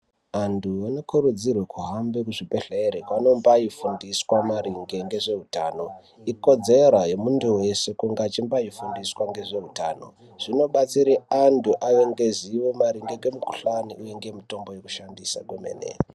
Antu anokurudzirwa kuhambe kuzvibhedhleya kwaanombayufundiswe maringe ngezveutano, ikodzero yemuntu weshe kunge achimbofundiswa ngezveutano zvinobatsira kuti antu ave ngezivo maringe ngemikuhlani uye ngemutombo yokushandisa kwemene.